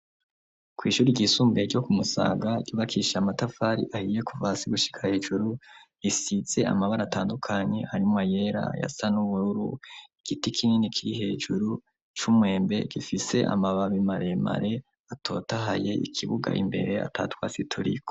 Kw'ishuri ryisumbuye ryo ku Musaga, ryubakishije amatafari ahiye kuva hasi gushika hejuru, risize amabara atandukanye harimwo ayera, ayasa n'ubururu, igiti kinini kiri hejuru, c'umwembe gifise amababi maremare atotahaye, ikibuga imbere ata twatsi turiko.